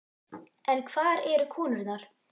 En hvar eru konurnar?